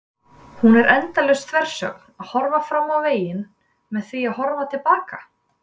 Hún er endalaus þversögn: að horfa fram á veginn með því að horfa til baka.